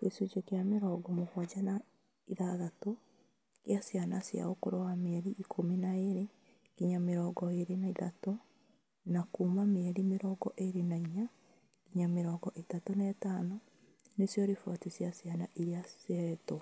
Gĩcunjĩ kĩa mĩrongo mũgwanja na ithathatũ kĩa ciana cia ũkũrũ wa mĩeri ikũmi na ĩĩrĩ nginya mĩrongo ĩĩrĩ na ithatũ na kuuma mĩeri mĩrongo ĩĩrĩ na inya nginya mĩrongo ĩtatũ na ĩtano nĩcio riboti cai ciana iria cihetwo